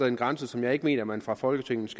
en grænse som jeg ikke mener man fra folketingets